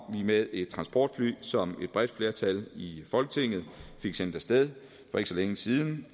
med et transportfly som et bredt flertal i folketinget fik sendt af sted for ikke så længe siden